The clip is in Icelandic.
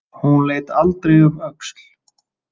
Hún leit aldrei um öxl.